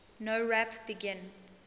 nowrap begin